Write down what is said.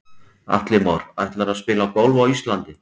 Atli Már: Ætlarðu að spila golf á Íslandi?